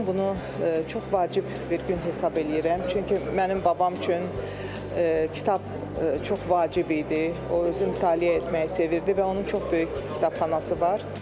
Mən bunu çox vacib bir gün hesab eləyirəm, çünki mənim babam üçün kitab çox vacib idi, o özü mütaliə etməyi sevirdi və onun çox böyük kitabxanası var.